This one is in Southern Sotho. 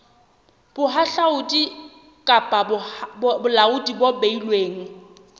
bohahlaudi kapa bolaodi bo beilweng